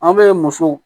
An bɛ musow